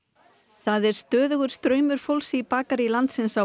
það er stöðugur straumur fólks í bakarí landsins á